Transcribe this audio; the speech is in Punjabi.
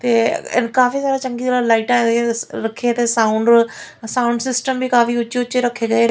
ਤੇ ਕਾਫੀ ਸਾਰਾ ਚੰਗੀ ਤਰ੍ਹਾਂ ਲਾਈਟਾਂ ਰੱਖਿਆ ਤੇ ਸਾਊਂਡ ਸਾਊਂਡ ਸਿਸਟਮ ਵੀ ਕਾਫੀ ਉੱਚੇ ਉੱਚੇ ਰੱਖੇ ਗਏ --